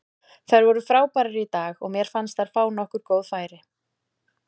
Þær voru frábærar í dag og mér fannst þær fá nokkur góð færi.